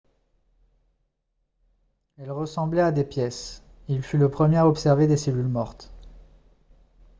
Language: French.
elles ressemblaient à des pièces il fut le premier à observer des cellules mortes